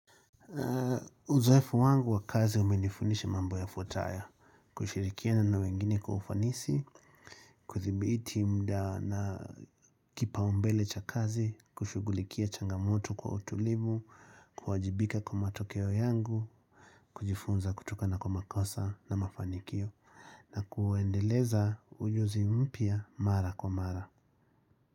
Uzoefu wangu wa kazi umenifundisha mambo yafuatayo kushirikiana na wengine kwa ufanisi kuthibiti muda na kipaombele cha kazi kushughulikia changamoto kwa utulivu kuwajibika kwa matokeo yangu kujifunza kutoka na kwa makosa na mafanikio na kuendeleza uso mpya mara kwa mara.